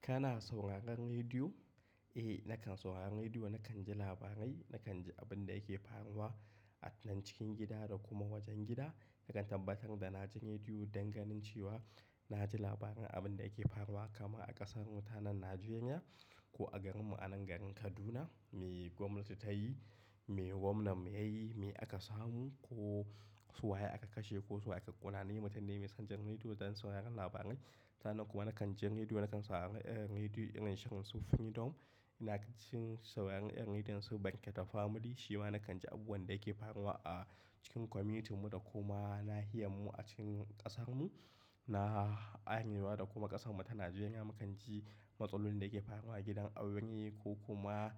Kana sauraron rediyo? Eh, nakan sauraron rediyo. Nakan ji labarai, nakan ji abin da yake faruwa a nan cikin gida da kuma wajen gida. Nakan tabbatar da na ji rediyo don ganin cewa na ji labaran abin da yake faruwa, kama a ƙasar mu ta nan Najeriya ko a garin mu a nan garin Kaduna, me gwamnati ta yi, me gwamna mu ya yi, me aka samu ko su waye aka kashe ko su waye aka ƙona. Ni mutane mai son jan rediyo don sauraron labarai. Sa'an nan kuma nakan ji rediyo, nakan saurari rediyo irin shirin su Freedom. Ina jin sauraron irin rediyon su Banƙete Family shima nakan ji abubuwan da yake faruwa a cikin community mu da kuma nahiyar mu a cikin ƙasar mu. Na arewa da kuma ƙasar mu ta Najeriya, mukan ji matsalolin da yake faruwa a gidan aure ko kuma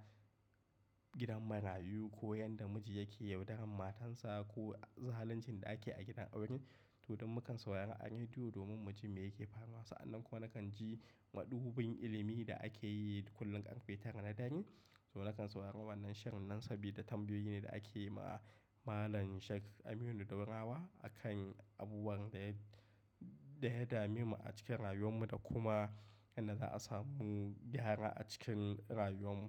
gidan marayu ko yanda miji yake yaudaran matan sa ko zaluncin da ake a gidan aure. To don mukan saurari a rediyo domin mu ji me yake faruwa. Sa'an nan kuma nakan ji madubin ilimi da ake yi kullum karfe tara na dare. To nakan sauraro wannan shirin nan sabida tambayoyi ne da ake yi ma Malam Sheik Aminu Daurawa a kan abubuwan da ya, da ya dami mu a cikin rayuwan mu da kuma yanda za'a samu gyara a cikin rayuwan mu.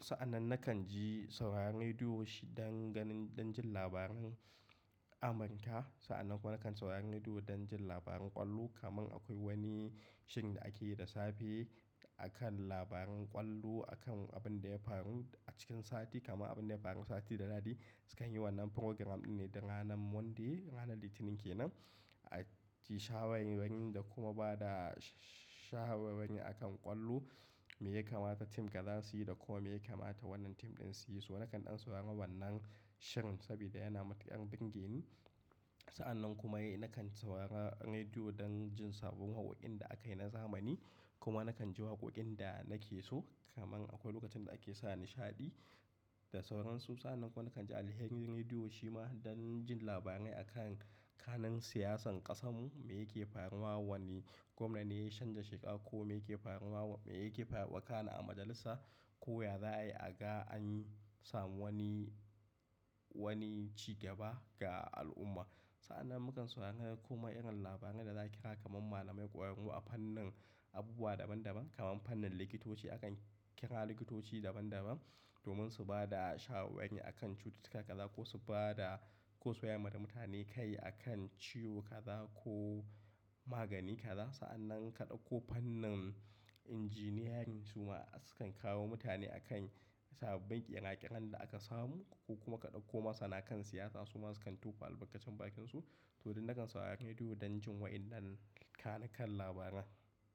Sa'an nan nakan ji sauraron rediyo shi don ganin, don jin labaran Amerika. Sa'an nan kuma nakan saurari rediyo don jin labaran ƙwallo. Kaman akwai wani shirin da ake yi da safe a kan labaran ƙwallo, a kan abin da ya faru a cikin sati kama abin da ya faru sati da dadi. Sukan yi wannan programme ɗin ne da ranan Monday, ranan Litinin kenan. A ji shawanwani da kuma ba da shawanwani a kan ƙwallo. Me yakamata tim kaza su yi da kuma me yakamata wannan tim ɗin su yi. So nakan ɗan sau ama wannan shirin sabida yana mata yan ɗingin. Sa'an nan kuma eh, nakan saurara rediyo don jin sabbon wawakin da aka yi na zamani. Kuma nakan ji waqoqin da nake so. Kaman akwai lokacin da ake sa nishaɗi da sauransu. Sa'an nan kuma nakan ji Alheri rediyo shima don jin labarai a kan, kanin siyasan ƙasar mu, me yake faruwa wani gwamna ne ya shan da sheka ko me yake faruwa, me yake faruwa, wakana a majalisa ko ya za'a yi a ga an yi samu wani, wani cigaba ga al'umma. Sa'an nan mukan saurari kuma irin labaran da za'a kira kaman malamai koyar mu a fannin abubuwa daban daban. Kaman fannin likitoci akan kira likitoci daban daban domin su ba da shawarai akan cuta kaza ko su ba da, ko su wayar da mutane kai a kan ciwo kaza ko magani kaza. Sa'an nan ka ɗauko fannin injiniyarin su ma su kan kawo mutane a kan sababin ƙiraƙiran da aka samu ko kuma ka ɗauko masu na'a kan siyasa su ma su kan tufa albarkacin bakin su. To don nakan saurari rediyo don jin wayannan kanikan labaran.